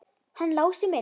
Hann Lási minn!